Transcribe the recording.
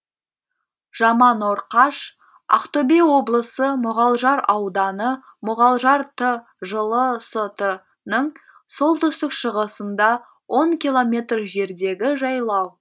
жаманорқаш ақтөбе облысы мұғалжар ауданы мұғалжар т жылы ст ның солтүстік шығысында он километр жердегі жайлау